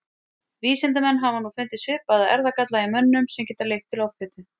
vísindamenn hafa nú fundið svipaða erfðagalla í mönnum sem geta leitt til offitu